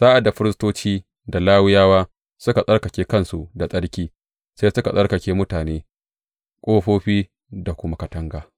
Sa’ad da firistoci da Lawiyawa suka tsarkake kansu da tsarki, sai suka tsarkake mutane, ƙofofi da kuma katanga.